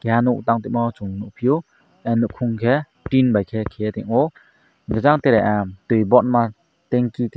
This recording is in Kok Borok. keha nog tang toimo chung nog pio keha nopong ke tin bai ke ketongmo jang tere tui bon ma tenki.